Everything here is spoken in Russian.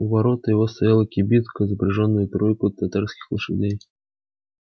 у ворот его стояла кибитка запряжённая тройкою татарских лошадей